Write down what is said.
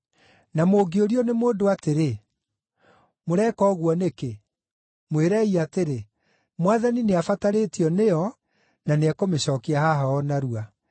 Na mũngĩũrio nĩ mũndũ atĩrĩ, ‘Mũreka ũguo nĩkĩ?’ Mwĩrei atĩrĩ, ‘Mwathani nĩabatarĩtio nĩyo na nĩekũmĩcookia haha o narua.’ ”